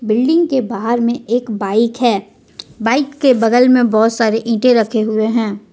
Building के बाहर में एक बाइक है बाइक के बगल में बहोत सारे ईंटे रखे हुए है।